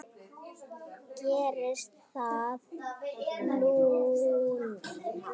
Gerðist það núna?